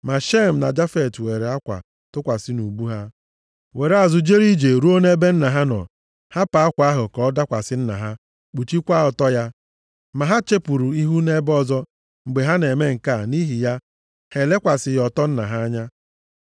Ma Shem na Jafet weere akwa tụkwasị nʼubu ha, were azụ jere ije ruo nʼebe nna ha nọ, hapụ akwa ahụ ka ọ dakwasị nna ha kpuchikwaa ọtọ ya. Ma ha chepuru ihu nʼebe ọzọ mgbe ha na-eme nke a, nʼihi ya, ha elekwasịghị ọtọ nna ha anya.